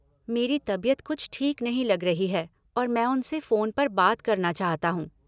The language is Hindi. मेरी तबियत कुछ ठीक नहीं लग रही है और मैं उनसे फोन पर बात करना चाहता हूँ।